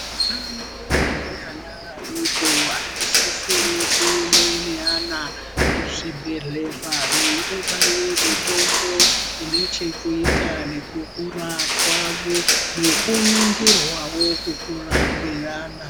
Ana mai ane ana adoko anosise kuenda nevana kuzvibhedhleya vaindobairwa mitombo ine chekuita nekukura kwavo nekuningirawo kukura kwevana .